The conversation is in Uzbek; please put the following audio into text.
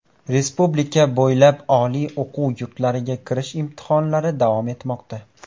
Respublika bo‘ylab oliy o‘quv yurtlariga kirish imtihonlari davom etmoqda.